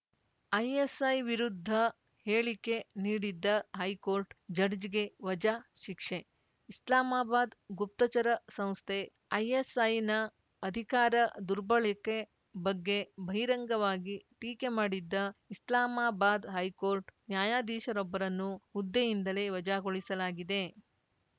ISI ವಿರುದ್ಧ ಹೇಳಿಕೆ ನೀಡಿದ್ದ ಹೈಕೋರ್ಟ್‌ ಜಡ್ಜ್‌ಗೆ ವಜಾ ಶಿಕ್ಷೆ ಇಸ್ಲಾಮಾಬಾದ್‌ ಗುಪ್ತಚರ ಸಂಸ್ಥೆ ಐಎಸ್‌ಐನ ಅಧಿಕಾರ ದುರ್ಬಳಕೆ ಬಗ್ಗೆ ಬಹಿರಂಗವಾಗಿ ಟೀಕೆ ಮಾಡಿದ್ದ ಇಸ್ಲಾಮಾಬಾದ್‌ ಹೈಕೋರ್ಟ್‌ ನ್ಯಾಯಾಧೀಶರೊಬ್ಬರನ್ನು ಹುದ್ದೆಯಿಂದಲೇ ವಜಾಗೊಳಿಸಲಾಗಿದೆ